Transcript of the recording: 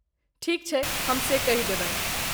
ठीक छै, हम से कहि देबनि ।